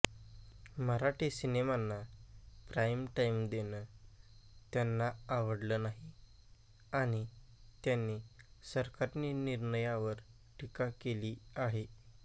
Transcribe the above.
मराठी सिनेमांना prime time देणं त्यांना आवडलं नाही आणि त्यांनी सरकारी निर्णयावर टीका केली आहे